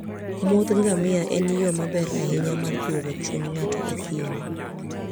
muodh ngamia en yo maber ahinya mar duogo chuny ng'ato e thim.